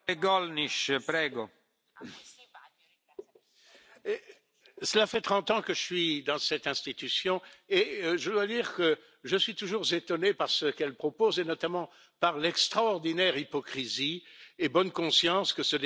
Monsieur le Président, cela fait 30 ans que je suis dans cette institution, et je dois dire que je suis toujours étonné par ce qu'elle propose, et notamment par l'extraordinaire hypocrisie et la bonne conscience que ce débat a révélées.